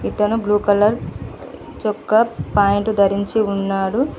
ఇతను blue colour చొక్కా pant ధరించి ఉన్నాడు.